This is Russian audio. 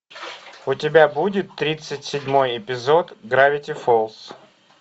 у тебя будет тридцать седьмой эпизод гравити фолз